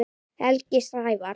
Helgi Sævar.